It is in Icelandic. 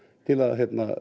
til að